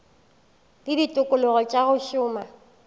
le ditikologo tša go šoma